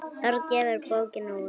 Örn gefur bókina út.